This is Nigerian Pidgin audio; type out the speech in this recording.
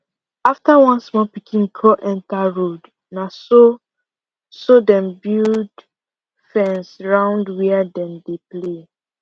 after one small pikin crawl enter road na so so dem build fence round where dem dey play